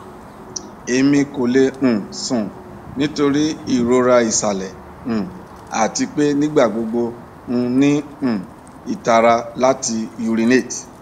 emi ko le um sùn nitori irora isalẹ um ati pe nigbagbogbo n ni um itara lati urinate